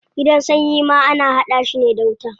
Gidan sanyi ma ana hada shi ne da wuta.